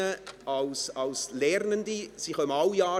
Es sind Lernende der Gemeinden.